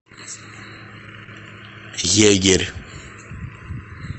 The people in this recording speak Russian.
егерь